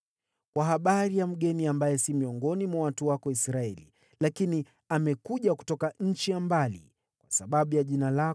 “Kwa habari ya mgeni ambaye si miongoni mwa watu wako Israeli, lakini amekuja kutoka nchi ya mbali kwa sababu ya jina lako,